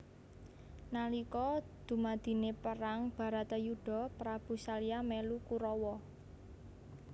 Nalika dumadine perang baratayuda Prabu salya melu Kurawa